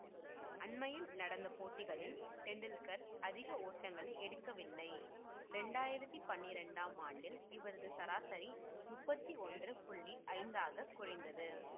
அண்மையில் நடந்த போட்டிகளில் டெண்டுல்கர் அதிக ஓட்டங்களை எடுக்கவில்லை ரெண்டாயிரத்தி பன்னிரெண்டாம் ஆண்டில் இவரது சராசரி முப்பத்தி ஒன்று புள்ளி ஐந்தாகக் குறைந்தது